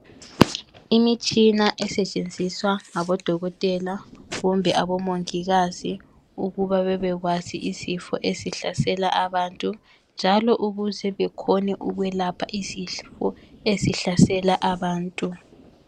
Imitshina esetshenziswa ngabodokotela kumbe abomongikazi ukuba bebekwazi izifo ezihlasela abantu njalo ukuze bekhone ukwelapha izifo ezihlasela abantu.